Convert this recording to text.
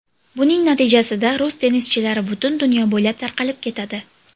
Buning natijasida rus tennischilari butun dunyo bo‘ylab tarqalib ketadi.